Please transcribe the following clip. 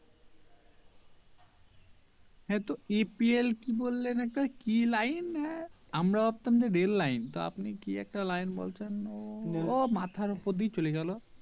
হ্যাঁ তো APL কি বললেন একটা কি line আহ আমরা ভাবতাম যে Rail Line তো আপনি কি একটা line বলছেন ও মাথার উপর দিয়ে চলে গেলো